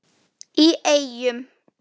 í Eyjum.